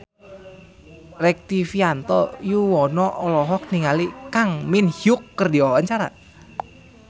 Rektivianto Yoewono olohok ningali Kang Min Hyuk keur diwawancara